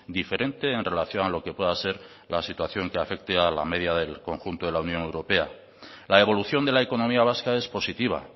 diferente en relación a lo que pueda ser la situación que afecte a la media del conjunto de la unión europea la evolución de la economía vasca es positiva